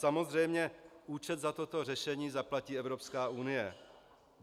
Samozřejmě účet za toto řešení zaplatí Evropská unie.